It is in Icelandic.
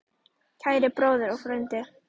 Kæri bróðir og frændi.